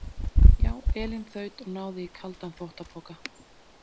Já, Elín þaut og náði í kaldan þvottapoka.